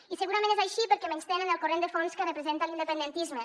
i segurament és així perquè menystenen el corrent de fons que representa l’independentisme